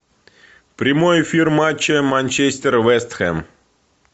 прямой эфир матча манчестер вест хэм